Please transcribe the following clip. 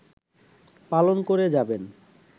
পালন করে যাবেন